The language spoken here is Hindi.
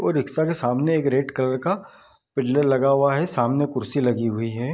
और रिक्शा के सामने एक रेड कलर का पिलर लगा हुआ है सामने कुर्सी लगी हुई है।